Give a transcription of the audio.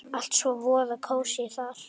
Allt svo voða kósí þar!